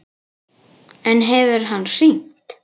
En hefur hann hringt?